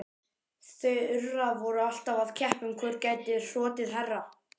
Þura væru alltaf að keppa um hvor gæti hrotið hærra.